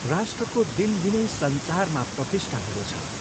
राष्ट्रको दिनदिनै संसारमा प्रतिष्ठा हुँदो छ।